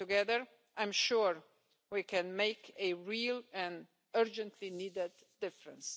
Together I am sure we can make a real and urgently needed difference.